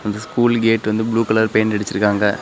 இந்த school gate வந்து blue colour paint அடிச்சுருக்காங்க.